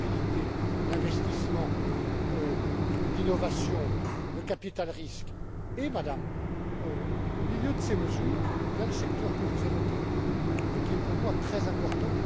La mobilité, l'investissement, l'innovation, le capital risque, et Madame, au milieu de ces mesures, il y a le secteur que vous évoquez et qui est pour moi très important.